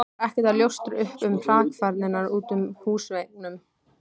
Var ekkert að ljóstra upp um hrakfarirnar utan á húsveggnum.